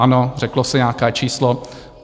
Ano, řeklo se nějaké číslo.